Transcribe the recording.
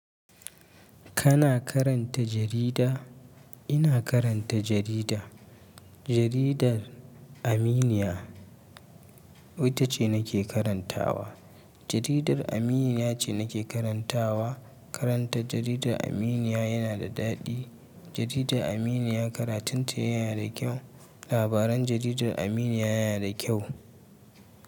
Kana karanta jarida? Ina karanta jarida. Jaridar Aminiya. Wata ce nake karantawa. Jaridar Aminiya ce nake karantawa. Karanta jaridar Aminiya yana da daɗi. Jaridar Aminiya karatunta yana da kyau. Labaran jaridar Aminiya yana da kyau.